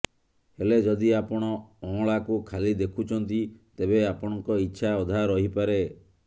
ହେଲେ ଯଦି ଆପଣ ଅଁଳାକୁ ଖାଲି ଦେଖୁଛନ୍ତି ତେବେ ଆପଣଙ୍କ ଇଚ୍ଛା ଅଧା ରହିପାରେ